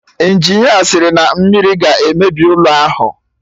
Injinia sịrị na mmiri ga-emebi ụlọ ahụ